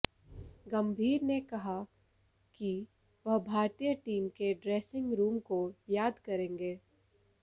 गंभीर ने कहा कि वह भारतीय टीम के ड्रैसिंग रूम को याद करेंगे